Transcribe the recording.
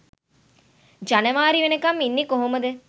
ජනවාරි වෙනකම් ඉන්නේ කොහොමද?